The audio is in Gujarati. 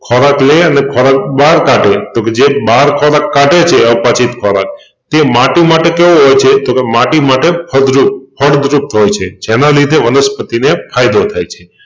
ખોરાક લઈને ખોરાક બહાર કાઢે તોકે બહાર ખોરાક કાઢે છે અપચિત ખોરાક તે માટી માટે કેવો હોય છે તોકે માટી માટે ફળદ્રુપ ફળદ્રુપ હોય છે જેના લીધે વનસ્પતિને ફાયદો થાય છે.